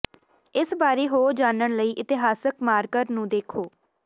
ਇਸ ਬਾਰੇ ਹੋਰ ਜਾਣਨ ਲਈ ਇਤਿਹਾਸਕ ਮਾਰਕਰ ਨੂੰ ਦੇਖੋ